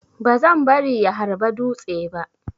Bazan bari ya harba dutse ba.